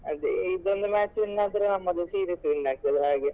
ಅದೇ ಇದು ಒಂದು match win ಆದ್ರೆ ನಮ್ಮದು series win ಆಗ್ತದೆ ಅಲಾ ಹಾಗೆ.